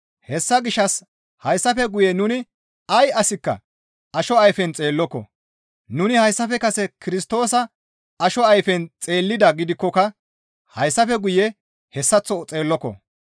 Hessa gishshas hayssafe guye nuni ay asikka asho ayfen xeelloko; nuni hayssafe kase Kirstoosa asho ayfen xeellidaa gidikkoka hayssafe guye hessaththo xeelloko.